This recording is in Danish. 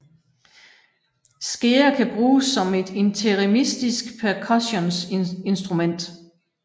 Skeer kan bruges som et interimistisk percussioninstrument